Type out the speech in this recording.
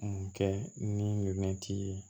Mun kɛ ni ye